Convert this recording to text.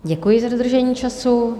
Děkuji za dodržení času.